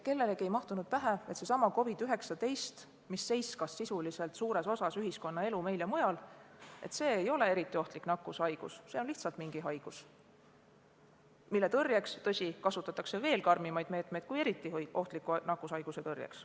Kellelegi ei mahtunud pähe, et seesama COVID-19, mis sisuliselt seiskas suures osas ühiskonnaelu meil ja mujal, ei ole eriti ohtlik nakkushaigus, see on lihtsalt üks haigus, mille tõrjeks, tõsi, kasutatakse veel karmimaid meetmeid kui eriti ohtliku nakkushaiguse tõrjeks.